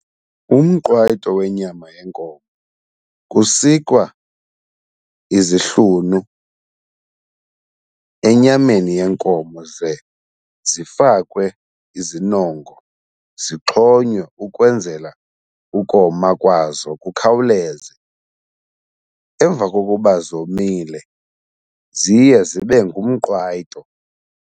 Umqwayito wenyama yenkomo, kusikwa izihlunu enyameni yenkomo ze zifakwe izinongo, zixhonywe ukwenzela ukoma kwazo kukhawuleze. Emva kokuba zomile ziye zibe ngumqwayito.